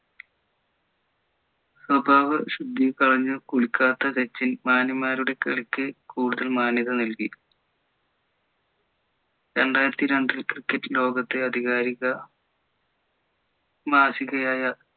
സ്വഭാവ ശുദ്ധീ കളഞ്ഞ് കുളിക്കാത്ത സച്ചിൻ മാന്യന്മാരുടെ കളിക്ക് കൂടുതൽ മാന്യത നേകി രണ്ടായിരത്തി രണ്ടിൽ cricket ലോകത്തെ അധികാരിക മാസികയായ